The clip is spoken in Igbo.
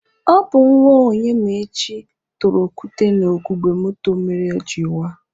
Ọ bụ nwa Onyemaechi tụrụ okwute na ugogbe moto a mere o jiri waa.